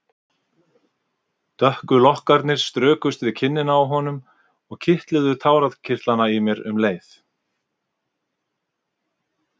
Dökku lokkarnir strukust við kinnina á honum og kitluðu tárakirtlana í mér um leið.